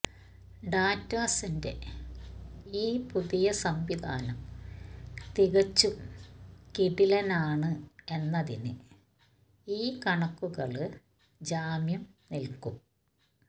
ഡാറ്റസന്റെ ഈ പുതിയ സംവിധാനം തികച്ചും കിടിലനാണ് എന്നതിന് ഈ കണക്കുകള് ജാമ്യം നില്ക്കും